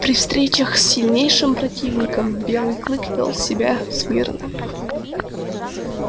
при встречах с сильнейшим противником белый клык вёл себя смирно